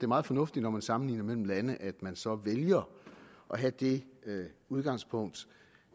meget fornuftigt når man sammenligner nogle lande at man så vælger at have det udgangspunkt